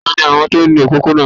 Tani àwọn tó ń nu òpópónà?